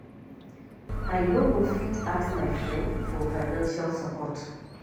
I no go fit ask my friend for financial support